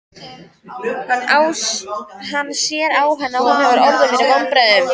Hann sér á henni að hún hefur orðið fyrir vonbrigðum.